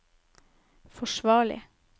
forsvarlig